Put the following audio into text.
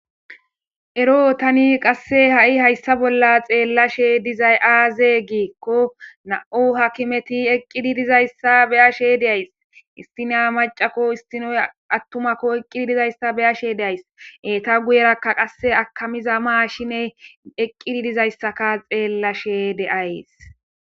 ero tani qasse ha7i hayssa bolla xeellashe dizay aaze giikko na7u hakimeti eqqidi dizayssa beya she deays istina macako istinoy attumakko eqqidi dizayssa beyashe deays eta guyerakka qasse akamiza maa shine eqqidi dizayssaka xeellashe deays